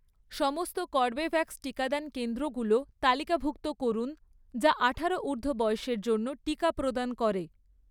সমস্ত কর্বেভ্যাক্স টিকাদান কেন্দ্রগুলো তালিকাভুক্ত করুন যা আঠারো ঊর্ধ্ব বয়সের জন্য টিকা প্রদান করে